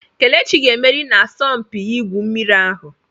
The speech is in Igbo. Kelechi ga-emeri na asọmpi igwu mmiri ahụ.